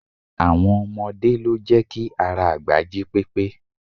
Àwọn ọmọdé lo jẹ́ ki ara àgbà jí pépé